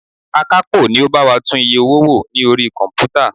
Akapo ni ó bá wa tún iye owó wò ní orí komputa.